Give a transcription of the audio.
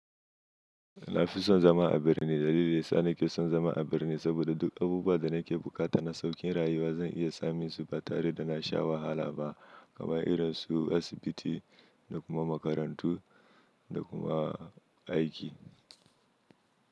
Na fi son zama a birni. Dalilin sa ni ke son zama a birni saboda duk abubuwan da nake buƙata na sauƙin rayuwa zan iya samun su ba tare da na sha wahala ba. Kaman irin su asibiti da kuma makarantu da kuma aiki.